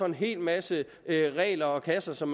en hel masse regler og kasser som